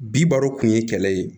Bi baro kun ye kɛlɛ ye